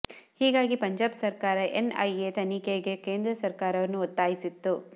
ಹೀಗಾಗಿ ಪಂಜಾಬ್ ಸರಕಾರ NIA ತನಿಖೆಗೆ ಕೇಂದ್ರ ಸರಕಾರವನ್ನು ಒತ್ತಾಯಿಸಿತ್ತು